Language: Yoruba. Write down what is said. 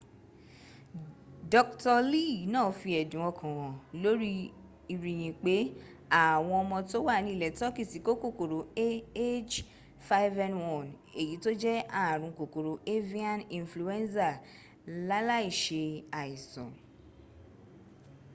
dr.lee náà fi ẹ̀dùn ọkàn hàn lórí ìrìyìn pé àwọn ọmọ tó wà ní ilẹ̀ turkey ti kó kòkòrò ah5n1 èyí tó jẹ́ ààrùn kòkòrò avian influenza láláì se àìsàn